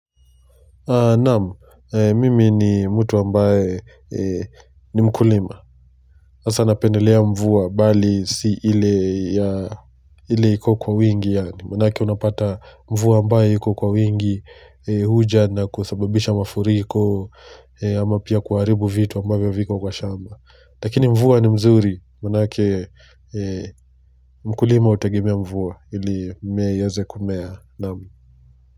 Naamu, mimi ni mtu ambaye ni mkulima. Hasa napendelea mvua bali si ile iko kwa wingi yaani. Manake unapata mvua ambaye iko kwa wingi huja na kusababisha mafuriko ama pia kuharibu vitu ambavyo viko kwa shamba. Lakini mvua ni mzuri, manake mkulima hutegemea mvua ili mmea iweze kumea naamu.